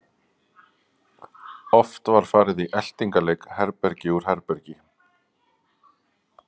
Oft var farið í eltingaleik herbergi úr herbergi.